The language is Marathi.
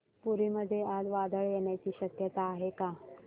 पुरी मध्ये आज वादळ येण्याची शक्यता आहे का